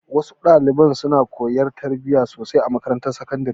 Wa su dalibai suna koyan tarbiya sosai a makarantar sakandare.